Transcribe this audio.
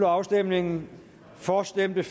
afstemningen for stemte